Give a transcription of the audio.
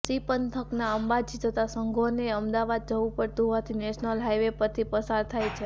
C પંથકના અંબાજી જતાં સંઘોને અમદાવાદ જવું પડતું હોવાથી નેશનલ હાઈવે પરથી પસાર થાય છે